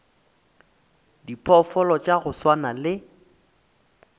diphoofolo tša go swana le